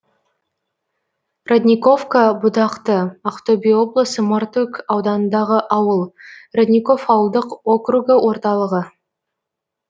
родниковка бұтақты ақтөбе облысы мартөк ауданындағы ауыл родников ауылдық округі орталығы